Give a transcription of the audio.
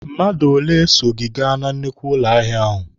Mmadụ ole so gị gaa na nnukwu ụlọ ahịa ahụ!